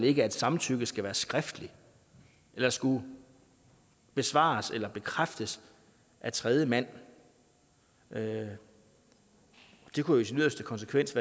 ikke at samtykket skal være skriftligt eller skal besvares eller bekræftes af tredjemand det kunne i sin yderste konsekvens